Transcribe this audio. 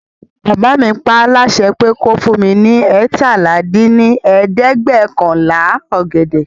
Bàbá mi paá láṣẹ pé kí ó fún mi ní eétalá dín ní ẹ̀ẹ́dẹ́gbẹ́ọ̀kànlá ọ̀gẹ̀dẹ̀